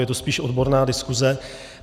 Je to spíš odborná diskuse.